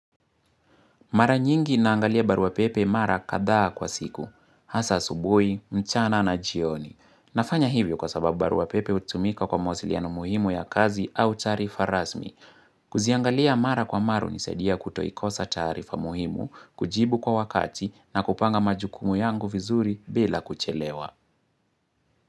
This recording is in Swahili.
Mara nyingi naangalia baruapepe mara kadhaa kwa siku, hasa asubui, mchana na jioni. Nafanya hivyo kwa sababu baruapepe utumika kwa mawasiliano muhimu ya kazi au taarifa rasmi. Kuziangalia mara kwa mara unisaidia kutoikosa taarifa muhimu, kujibu kwa wakati na kupanga majukumu yangu vizuri bila kuchelewa.